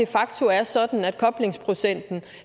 facto er sådan at koblingsprocenten